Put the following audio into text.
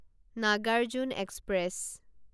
Nagarjuna express